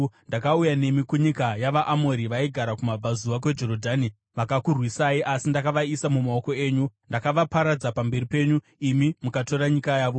“ ‘Ndakauya nemi kunyika yavaAmori vaigara kumabvazuva kweJorodhani. Vakakurwisai asi ndakavaisa mumaoko enyu. Ndakavaparadza pamberi penyu, imi mukatora nyika yavo.